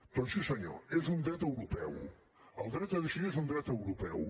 doncs sí senyor és un dret europeu el dret a decidir és un dret europeu